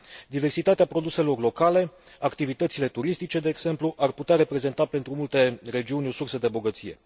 Diversitatea produselor locale, activitățile turistice, de exemplu, ar putea reprezenta pentru multe regiuni o sursă de bogăție.